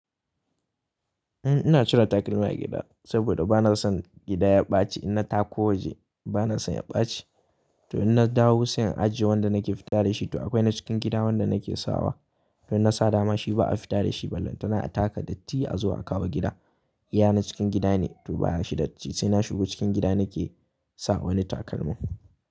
Eh ina cire takalma a gida, saboda bana son gida ya ɓaci in na tako waje bana son ya ɓaci. To in na dawo siyan ajiye wanda nake fita dashi to akwai na cikin gida wanda nake sawa. In na sa dama shi ba a fita da shi ba lantana a taka dattii a zuwa a kawo gida. Iya na cikin gida ne to baya shi dattii sai na shigo cikin gida nake sa wani takalmi.